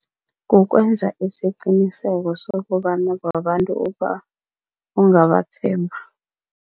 Kukwenza isiqiniseko sokobana babantu ongabathemba.